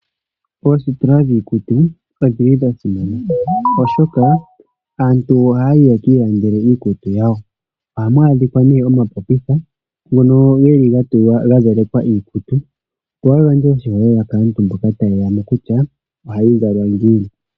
Oositola dhiikutu odhi li dha simana, oshoka aantu ohaya yi ye ki ilandele iikutu yawo. Ohamu adhika nee omapopitha ngono ge li ga zalekwa iikutu, opo ga gandje oshiholelwa kaantu mboka taye ya mo kutya ohayi zalwa ngiini.